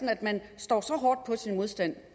at man står så hårdt på sin modstand